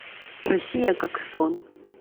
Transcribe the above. россия как сон